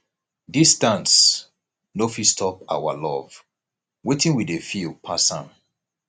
distance no fit stop our love wetin we dey feel pass am